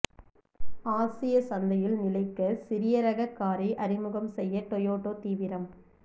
ஆசிய சந்தையில் நிலைக்க சிறிய ரக காரை அறிமுகம் செய்ய டோயோட்டோ தீவிரம்